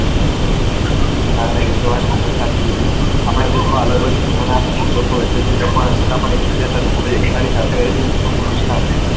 ના ના એ તો વાત એક દમ સાચી કીધી આપણા દેશ મા અલગ અલગ ધર્મ ના લોકો વસે છે છતાં પણ એક બીજા સાથે એકતા ની સાથે રહે છે ને એ પણ ખુશ હાલ થી